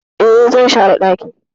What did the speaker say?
E, zan share dakin.